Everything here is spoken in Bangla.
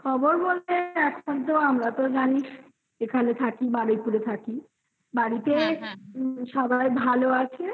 খবর বলতে এখনতো জানিস। এখানে থাকি বারুইপুরে থাকি. বাড়িতে সবাই ভালো আছে